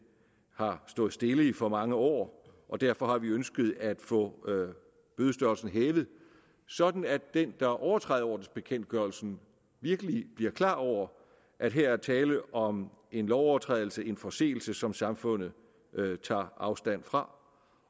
har stået stille i for mange år og derfor har vi ønsket at få bødestørrelsen hævet sådan at den der overtræder ordensbekendtgørelsen virkelig bliver klar over at her er tale om en lovovertrædelse en forseelse som samfundet tager afstand fra